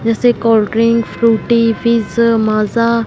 जैसे cold drink Frooti pizza Maaza.